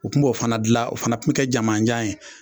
U tun b'o fana dilan, o fana tun kɛ jamajan ye.